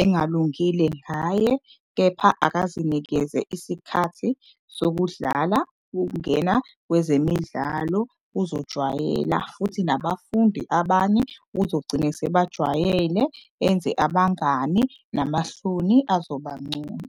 engalungile ngaye. Kepha akazinikeze isikhathi sokudlala, ukungena kwezemidlalo uzojwayela. Futhi nabafundi abanye uzogcine esebajwayele, enze abangani namahloni azoba ngcono.